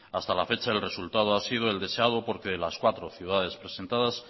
hasta la fecha el resultado ha sido el deseado porque las cuatro ciudades presentadas